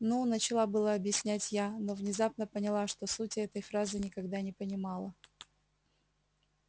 ну начала было объяснять я но внезапно поняла что сути этой фразы никогда не понимала